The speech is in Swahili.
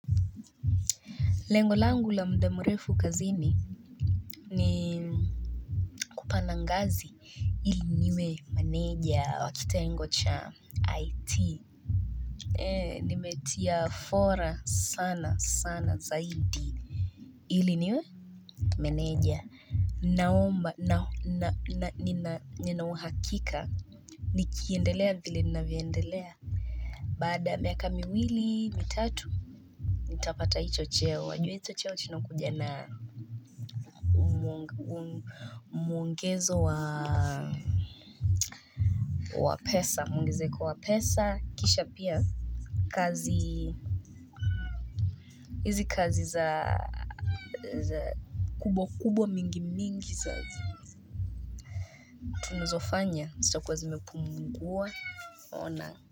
Lengo langu la muda mrefu kazini ni kupanda ngazi. Ili niwe maneja wa kitengo cha IT. Eee nimetia fora sana sana zaidi. Ili niwe meneja. Naomba na nina uhakika. Nikiendelea vile ninavyoendelea. Baada ya miaka miwili mitatu. Nitapata hicho cheo. Wajua hicho cheo kinakuja na mwongezo wa pesa. Mwongezeko wa pesa, kisha pia kazi, hizi kazi za kubwa mingi tunazofanya, zitakuwa zimepumungua ona.